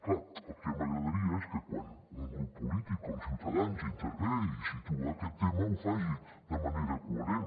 clar el que m’agradaria és que quan un grup polític com ciutadans intervé i situa aquest tema ho faci de manera coherent